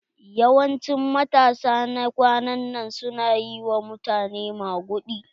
Yawancin matasa na kwanan nan su na yi wa mutane maguɗi.